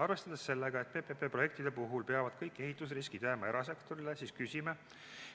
Arvestades sellega, et PPP projektide puhul peavad kõik ehitusriskid jääma erasektorile, küsime,